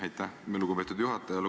Aitäh, lugupeetud juhataja!